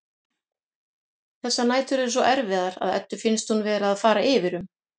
Þessar nætur eru svo erfiðar að Eddu finnst hún vera að fara yfir um.